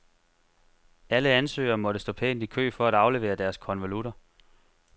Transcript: Alle ansøgere måtte stå pænt i kø for at aflevere deres konvolutter.